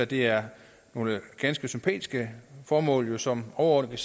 det er nogle ganske sympatiske formål som overordnet